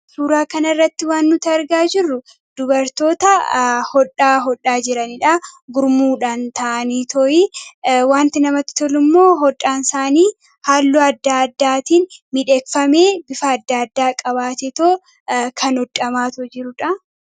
Suuraa kana irratti waan nuti argaa jirru dubartoota hodhaa hodhaa jiraniidha. Gurmuudhaan ta'anii to'ii wanti namatti tolu immoo hodhaan isaanii haallu addaa addaatiin midheegafamee bifa adda addaa qabaatetoo kan hodhamaatoo jiruudha.